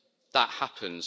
that happens.